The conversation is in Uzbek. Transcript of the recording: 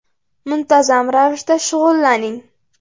Muntazam ravishda shug‘ullaning.